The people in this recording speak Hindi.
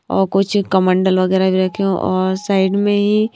और कुछ कमंडल वगैरह भी रखे हैंऔर साइड में ही।